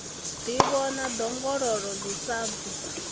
ḓivhona ḓongololo ḽi sa bvi